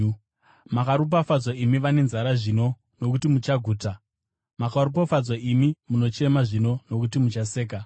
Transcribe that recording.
Makaropafadzwa imi vane nzara zvino, nokuti muchaguta. Makaropafadzwa imi munochema zvino, nokuti muchaseka.